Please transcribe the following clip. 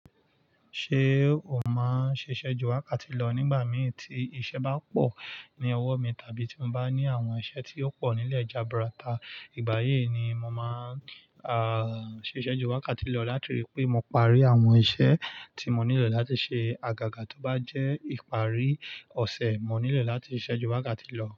Ṣé o máa ṣiṣẹ́ ju wákàtí lọ nígbà mí tí iṣẹ́ bá pọ̀ ní ọwọ́ mi tàbí tí mo bá ní àwọn iṣẹ́ tí ó pọ̀ nílẹ̀ jaburata. Ìgbà yìí ni mo máa a, ṣiṣẹ́ ju wákàtí lọ láti rí pé mo parí àwọn iṣẹ́ tí mo nílò láti ṣe. Àgàgà tó bá jẹ́ ìparí ọ̀ṣẹ̀, mo nílò láti ṣiṣẹ́ ju wákàtí lọ.